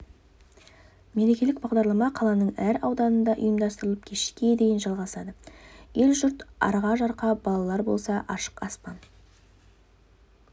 мерекелік бағдарлама қаланың әр ауданында ұйымдастырылып кешке дейін жалғасады ел-жұрт арқа-жарқа балалар болса ашық аспан